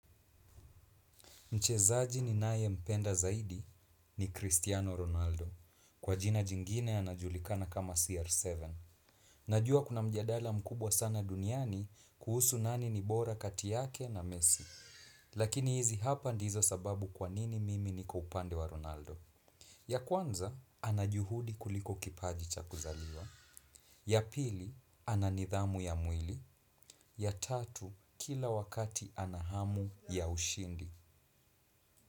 Mchezaji ninaye mpenda zaidi ni Cristiano Ronaldo. Kwa jina jingine anajulikana kama CR7. Najua kuna mjadala mkubwa sana duniani kuhusu nani nibora katiyake na mesi. Lakini hizi hapa ndizo sababu kwanini mimi niko upande wa Ronaldo. Ya kwanza, anajuhudi kuliko kipaji chakuzaliwa. Ya pili, ananidhamu ya mwili. Ya tatu, kila wakati anahamu ya ushindi.